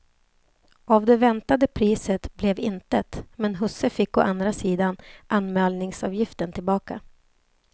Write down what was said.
Av det väntade priset blev intet, men husse fick å andra sidan anmälningsavgiften tillbaka.